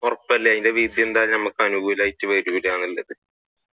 ഉറപ്പല്ലേ ഇതിന്റെ വിധി നമുക്ക് അനുകൂലമായിട്ട് വരൂല എന്നത്